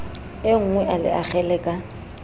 enngwe a le akgele ka